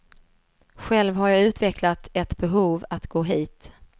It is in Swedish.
Själv har jag utvecklat ett behov att gå hit.